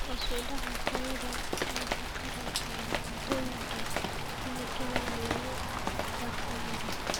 Hoos u dhaca tayada nafaqada ee cuntooyinka kiimikaad lagu farsameeyey.